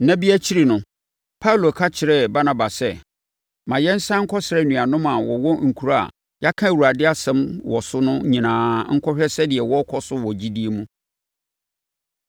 Nna bi akyi no, Paulo ka kyerɛɛ Barnaba sɛ, “Ma yɛnsane nkɔsra anuanom a wɔwɔ nkuro a yɛaka Awurade asɛm wɔ so no nyinaa nkɔhwɛ sɛdeɛ wɔrekɔ so wɔ gyidie mu.”